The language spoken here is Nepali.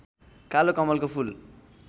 कालो कमलको फूल